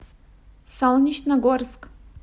солнечногорск